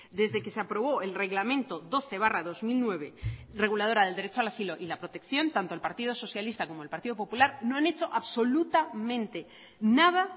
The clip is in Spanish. desde que se aprobó el reglamento doce barra dos mil nueve reguladora del derecho al asilo y la protección tanto el partido socialista como el partido popular no han hecho absolutamente nada